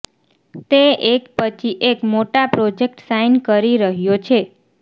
તે એક પછી એક મોટા પ્રોજેક્ટ સાઈન કરી રહ્યો છે